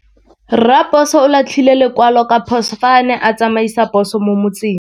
Raposo o latlhie lekwalô ka phosô fa a ne a tsamaisa poso mo motseng.